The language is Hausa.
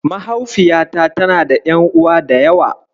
Mahaufiyata tana da ƴan'uwa da yawa.